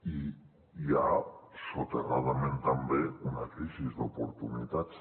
i hi ha soterradament també una crisi d’oportunitats